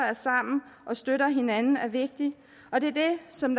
er sammen og støtter hinanden er vigtig og det er det som